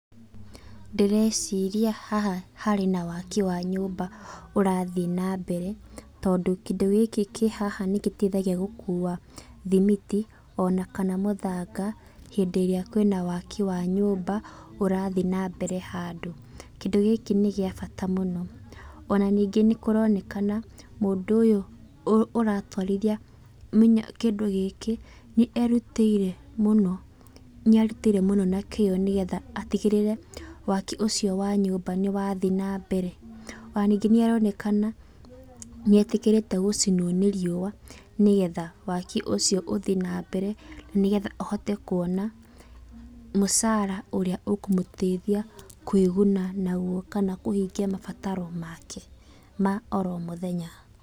Ndĩreciria haha harĩ na waki wa nyũmba ũrathiĩ na mbere, tondũ kĩndũ gĩkĩ kĩhaha nĩ gĩteithagia gũkũa thimiti, ona mũthanga, hindĩ ĩrĩa kwĩna waki wa nyũmba ũrathiĩ na mbere handũ. Kĩndũ gĩkĩ nĩ gĩa bata mũno, ona nĩ kũronekana mũndũ ũyũ ũratwarithia kĩndũ gĩkĩ nĩ erutĩire mũno na kĩo atigĩrĩre waki ũcio wa nyũmba nĩ wathiĩ nambere. Ona nĩngĩ nĩ aronekana nĩ etĩkĩrĩte gũcinwo nĩ riũa nĩgetha waki ũcio ũthiĩ na mbere, nĩgetha ahote kuona mũcara ũrĩa ũkũmũteithia kwĩ guna naguo kana kũhingia mabataro make ma o mũthenya.